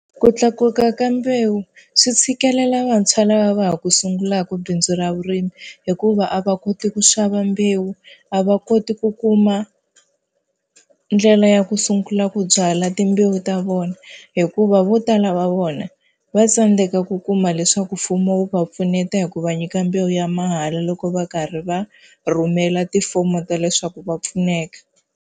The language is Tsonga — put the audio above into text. Ku tlakuka ka mbewu swi tshikelela vantshwa lava va ha ku sungulaka bindzu ra vurimi, hikuva a va koti ku xava mbewu, a va koti ku kuma ndlela ya ku sungula ku byala timbewu ta vona. Hikuva vo tala va vona va tsandzeka ku kuma leswaku mfumo wu va pfuneta hi ku va nyika mbewu ya mahala loko va karhi va rhumela tifomo ta leswaku va pfuneka.